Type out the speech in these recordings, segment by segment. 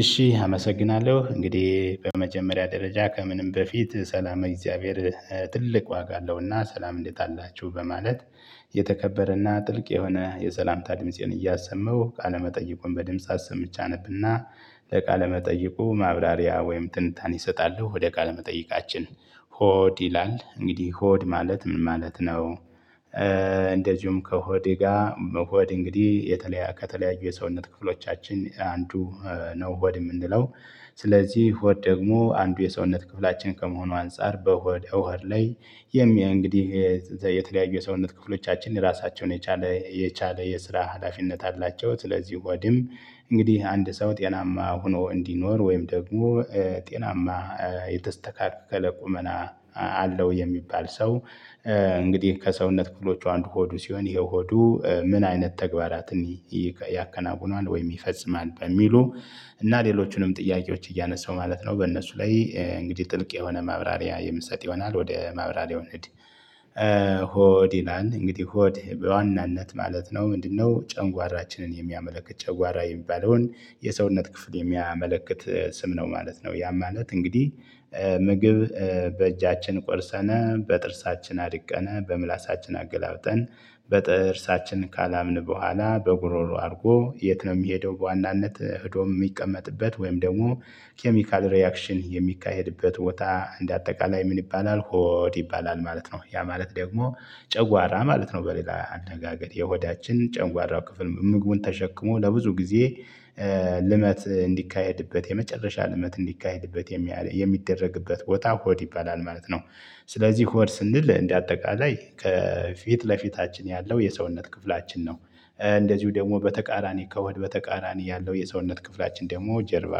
እሺ አመሰግናለሁ እንግዲህ በመጀመሪያ ደረጃ ከምንም በፊት ሰላመ እግዚአብሔር ትልቅ ዋጋ አለውና ሰላም እንዴት አላችሁ በማለት። የተከበረና ጥልቅ የሆነ የሰላምታ ድምፄን እያሰመው ቃለመጠየቁን በድምጽ አሰምቼ አነብና ለቃለመጠይቁ ማብራሪያ ወይም ትንታኔ እሰጣለሁ። ወደ ቃለመጠይቃችን ሆድ ይላል እንግዲህ ሆድ ማለት ምን ማለት ነው? እንደዚሁም ከሆዴ ጋር መሆድ እንግዲህ የተለያ ከተለያዩ የሰውነት ክፍሎቻችን አንዱ ነው ሆድ የምንለው ስለዚህ ሆድ ደግሞ አንዱ የሰውነት ክፍላችን ከመሆኑ አንፃር በሆድ እሆድ ላይ የሚይ እንግዲህ የተለያዩ የሰውነት ክፍሎቻችን ራሳቸውን የቻለ የቻለ የስራ ሀላፊነት አላቸው። ስለዚህ ሆድም እንግዲህ አንድ ሰው ጤናማ ሆኖ እንዲኖር ወይም ደግሞ ጤናማ የተስተካከለ ቁመና አለው የሚባል ሰው እንግዲህ ከሰውነት ክፍሎቹ አንዱ ሆዱ ሲሆን ይሄ ሆዱ ምን አይነት ተግባራትን ያከናውናል። ወይም ይፈጽማል በሚሉ እና ሌሎቹንም ጥያቄዎች እያነሳው ማለት ነው በእነሱ ላይ እንግዲህ ጥልቅ የሆነ ማብራሪያ የምሰጥ ይሆናል ወደ ማብራሪያው እንሂድ። ሆድ ይላል እንግዲህ ሆድ በዋናነት ማለት ነው ምንድንነው? ጨንጓራችንን የሚያመለክት ጨጓራ የሚባለውን የሰውነት ክፍል የሚያመለክት ስም ነው ማለት ነው። ያ ማለት እንግዲህ ምግብ በእጃችን ቆርሰነ በጥርሳችን አድቀነ በምላሳችን አገላብጠን በጥርሳችን ካላምን በኋላ በጉሮሮ አድርጎ የት ነው የሚሄደው? በዋናነት ሄዶ የሚቀመጥበት ወይም ደግሞ ኬሚካል ሪአክሽን የሚካሄድበት ቦታ እንደ አጠቃላይ ምን ይባላል ሆድ ይባላል ማለት ነው። ያ ማለት ደግሞ ጨጓራ ማለት ነው በሌላ አነጋገር የሆዳችን ጨጓራ ክፍል ምግቡን ተሸክሞ ለብዙ ጊዜ ልመት እንዲካሄድበት የመጨረሻ ልመት እንዲካሄድበት የሚየ ሚደረግበት ቦታ ሆድ ይባላል ማለት ነው። ስለዚህ ሆድ ስንል እንደ አጠቃላይ ከፊት ለፊታችን ያለው የሰውነት ክፍላችን ነው። እንደዚሁ ደግሞ በተቃራኒ ከሆድ በተቃራኒ ያለው የሰውነት ክፍላችን ደግሞ ጀርባ።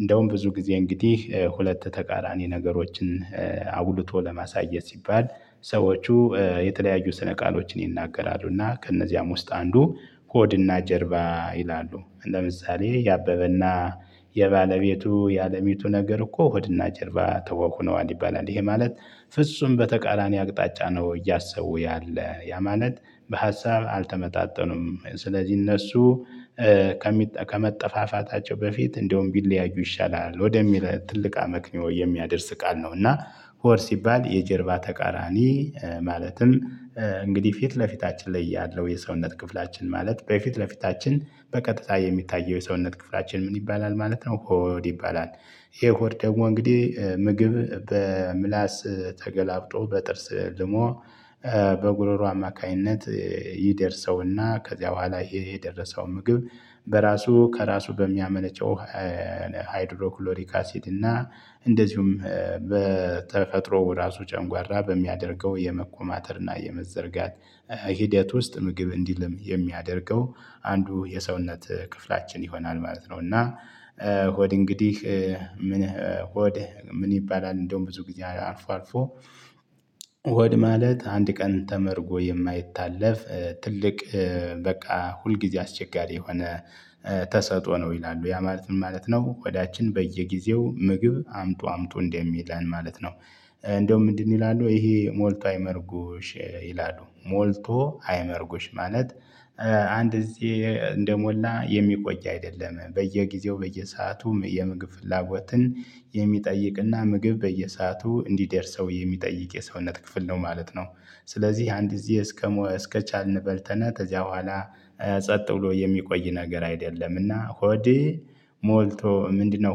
እንደውም ብዙ ጊዜ እንግዲህ ሁለት ተቃራኒ ነገሮችን አጉልቶ ለማሳየት ሲባል ሰዎቹ የተለያዩ ስነ ቃሎችን ይናገራሉ። እና ከእነዚያም ውስጥ አንዱ ሆድ እና ጀርባ ይላሉ ለምሳሌ የአበበ አና የባለቤቱ የአለሚቱ ነገር እኮ ሆድና ጀርባ ተኋሁነዋል ይባላል ይሄ ማለት ፍጹም በተቃራኒ አቅጣጫ ነው። እያሰቡ ያለ ያ ማለት በሀሳብ አልተመጣጠኑም። ስለዚህ እነሱ ከሚጠ ከመጠፋፋታቸው በፊት እንደውም ቢለያዩ ይሻላል ወደሚለው ትልቅ አመክንዮ የሚያደርስ ቃል ነው። እና ሆድ ሲባል የጀርባ ተቃራኒ ማለትም እንግዲህ ፊት ለፊታችን ላይ ያለው የሰውነት ክፍላችን ማለት በፊት ለፊታችን በቀጥታ የሚታየው የሰውነት ክፍላችን ምን ይባላል ማለት ነው። ሆድ ይባላል። ይሄ ሆድ ደግሞ እንግዲህ ምግብ በምላስ ተገላብጦ በጥርስ ልሞ በጉሮሮ አማካኝነት ይደርሰውና ከዚያ በኋላ ይሄ የደረሰው ምግብ በራሱ ከራሱ በሚያመነጨው ሃይድሮክሎሪክ አሲድ እና እንደዚሁም በተፈጥሮ ራሱ ጨንጓራ በሚያደርገው የመኮማተርና የመዘርጋት ሂደት ውስጥ ምግብ እንዲልም የሚያደርገው አንዱ የሰውነት ክፍላችን ይሆናል ማለት ነው። እና ሆድ እንግዲህ ምን ሆድ ምን ይባላል እንደውም ብዙ ጊዜ አልፎ አልፎ። ሆድ ማለት አንድ ቀን ተመርጎ የማይታለፍ ትልቅ በቃ ሁልጊዜ አስቸጋሪ የሆነ ተሰጥኦ ነው ይላሉ ያ ማለት ምን ማለት ነው? ሆዳችን በየጊዜው ምግብ አምጡ አምጡ እንደሚለን ማለት ነው። እንደውም ምንድን ይላሉ? ይሄ ሞልቶ አይመርጉሽ ይላሉ ሞልቶ አይመርጉሽ ማለት። አንድ ጊዜ እንደሞላ የሚቆይ አይደለም በየጊዜው በየሰዓቱም የምግብ ፍላጎትን የሚጠይቅና ምግብ በየሰአቱ እንዲደርሰው የሚጠይቅ የሰውነት ክፍል ነው ማለት ነው። ስለዚህ አንድ ጊዜ እስከሞ እስከቻልን በልተነ ከዚያ በኋላ ጸጥ ብሎ የሚቆይ ነገር አይደለምና። ሆድ ሞልቶ ምንድንነው?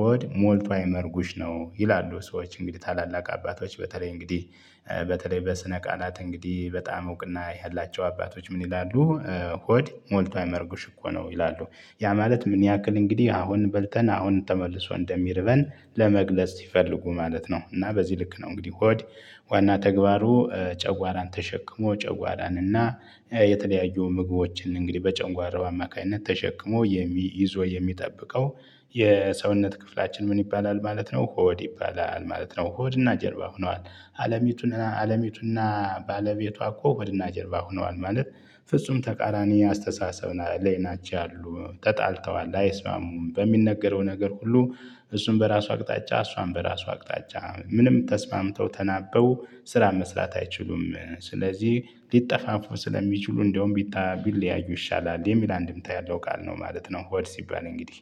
ሆድ ሞልቶ አይመርጉሽ ነው። ይላሉ ሰዎች እንግዲህ ታላላቅ አባቶች በተለይ እንግዲህ በተለይ በስነ ቃላት እንግዲህ በጣም እውቅና ያላቸው አባቶች ምን ይላሉ? ሆድ ሞልቶ አይመርጉሽ እኮ ነው ይላሉ። ያ ማለት ምን ያክል እንግዲህ አሁን በልተን አሁን ተመልሶ እንደሚርበን ለመግለጽ ሲፈልጉ ማለት ነው። እና በዚህ ልክ ነው እንግዲህ ሆድ ዋና ተግባሩ ጨጓራን ተሸክሞ ጨጓራን እና የተለያዩ ምግቦችን እንግዲህ በጨንጓራው አማካኝነት ተሸክሞ የሚ ይዞ የሚጠብቀው የሰውነት ክፍላችን ምን ይባላል ማለት ነው ሆድ ይባላል ማለት ነው። ሆድና ጀርባ ሆነዋል። አለሚቱና አለሚቱና ባለቤቷ እኮ ሆድና ጀርባ ሆነዋል። ማለት ፍጹም ተቃራኒ አስተሳሰብ ና ላይ ናቸው ያሉ ተጣልተዋል አይስማሙም በሚነገረው ነገር ሁሉ እሱን በራሱ አቅጣጫ እሷም በራሱ አቅጣጫ ምንም ተስማምተው ተናበው ስራ መስራት አይችሉም። ስለዚህ ሊጠፋፉ ስለሚችሉ እንደውም ቢታ ቢለያዩ ይሻላል የሚል አንድምታ ያለው ቃል ነው ማለት ነው። ሆድ ሲባል እንግዲህ